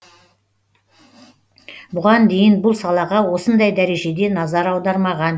бұған дейін бұл салаға осындай дәрежеде назар аудармаған